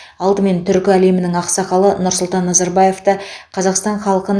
алдымен түркі әлемінің ақсақалы нұрсұлтан назарбаевты қазақстан халқын